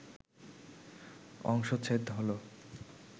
অংশচ্ছেদ হল